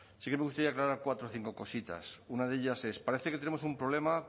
sí que me gustaría aclarar cuatro o cinco cositas una de ellas es parece que tenemos un problema